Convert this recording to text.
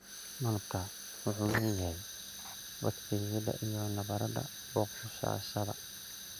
Malabku waxa uu leeyahay bakteeriyada iyo nabarrada bogsashada.